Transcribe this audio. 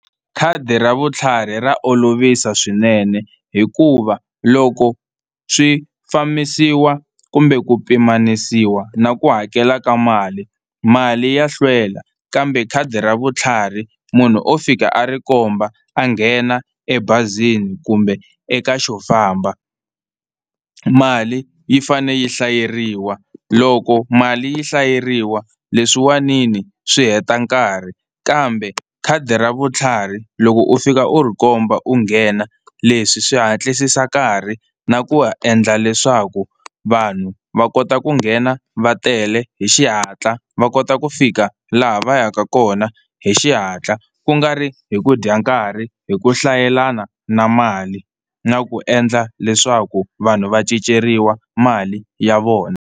Khadi ra vutlhari ra olovisa swinene hikuva loko swi fambisiwa kumbe ku pimanisiwa na ku hakela ka mali, mali ya hlwela kambe khadi ra vutlhari munhu o fika a ri komba a nghena ebazini kumbe eka xofamba. Mali yi fane yi hlayeriwa loko mali yi hlayeriwa leswiwanini swi heta nkarhi kambe khadi ra vutlhari loko u fika u ri komba u nghena leswi swi hatlisisa nkarhi na ku ha endla leswaku vanhu va kota ku nghena va tele hi xihatla va kota ku fika laha va yaka kona hi xihatla kungari hi ku dya nkarhi hi ku hlayelana na mali na ku endla leswaku vanhu va cinceriwa mali ya vona.